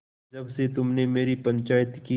जब से तुमने मेरी पंचायत की